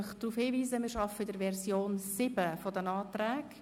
Ich weise daraufhin, dass wir mit Version 7 der Anträge arbeiten.